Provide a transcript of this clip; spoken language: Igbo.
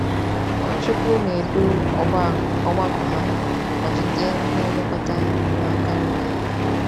Nwachukwu na-edu ọgbakọ ya ma jide ndị nlekọta n’aka nri ya.